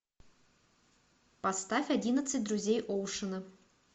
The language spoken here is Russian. поставь одиннадцать друзей оушена